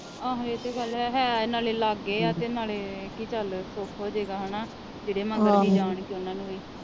ਆਹੋ ਇਹ ਤਾ ਗੱਲ ਹੈ। ਓਦਾਂ ਹੈ ਨਾਲੇ ਇਹ ਲਾਗੇ ਆ ਤੇ ਨਾਲੇ ਇਹ ਕੀ ਚਲ ਸੁਖ ਹੋਜੇਗਾ ਹੇਨਾ ਜਿਹੜੇ ਮਗਰ ਵੀ ਜਾਣਗੇ ਉਹਨਾਂ ਨੂੰ ਵੀ